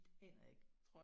Det aner jeg ikke